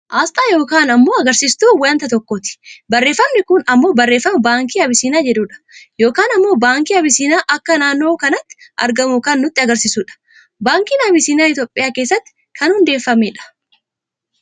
Aasxaa yookaan ammoo agarsiistuu waanta tokkooti. Barreeffamni kun ammoo barreefama baankii abisiiniyaa jedhuudha. Yookaan ammoo baankiin abisiiniyaa akka naannoo kanatti argamu kan nutti agarsiisudha. Baankiin abisiiniyaa Itoophiyaa keessatti kan hundeefame dha.